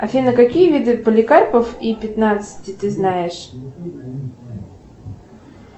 афина какие виды поликарпов и пятнадцати ты знаешь